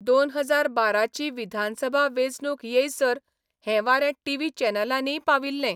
दोन हजार बाराची विधानसभा वेंचणूक येयसर हें वारें टीव्ही चॅनलांनीय पाविल्ले.